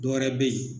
Dɔwɛrɛ be yen